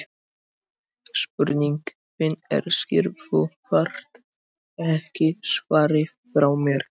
Spurningin þín er skýr, þú þarft ekki svarið frá mér.